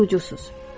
Siz qurucusuz.